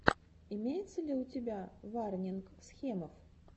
имеется ли у тебя варнинг схемов